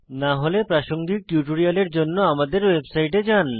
না হলে প্রাসঙ্গিক টিউটোরিয়ালের জন্য আমাদের ওয়েবসাইটে যান